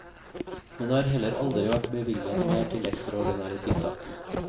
Men det har heller aldri vært bevilget mer til ekstraordinære tiltak.